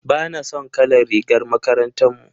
Bana son kalar rigar makarantar mu.